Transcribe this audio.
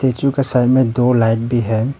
का साइड में दो लाइन भी है।